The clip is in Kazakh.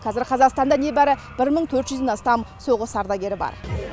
қазір қазақстанда небәрі ден астам соғыс ардагері бар